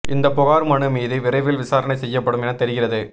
இந்த புகார் மனு மீது விரைவில் விசாரணை செய்யப்படும் என தெரிகிறது